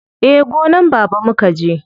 Eh, gonan baba mukaje.